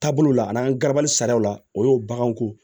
Taabolo la n'an garabali sariyaw la o y'o baganko